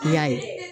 I y'a ye